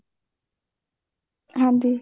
ਹਾਂਜੀ